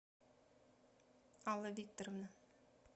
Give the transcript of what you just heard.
алла викторовна